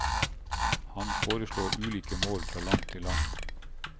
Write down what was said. Han foreslår ulike mål fra land til land.